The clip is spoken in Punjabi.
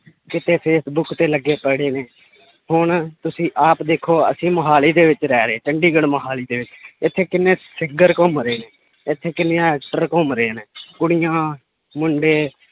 ਕਿਸੇ ਫੇਸਬੁੱਕ ਤੇ ਲੱਗੇ ਪੜੇ ਨੇ ਹੁਣ ਤੁਸੀਂ ਆਪ ਦੇਖੋ ਅਸੀਂ ਮੁਹਾਲੀ ਦੇ ਵਿੱਚ ਰਹਿ ਰਹੇ ਚੰਡੀਗੜ੍ਹ ਮੁਹਾਲੀ ਦੇ ਵਿੱਚ ਇੱਥੇ ਕਿੰਨੇ ਘੁੰਮ ਰਹੇ ਨੇ, ਇੱਥੇ ਕਿੰਨਿਆਂ actor ਘੁੰਮ ਰਹੇ ਨੇ ਕੁੜੀਆਂ ਮੁੰਡੇ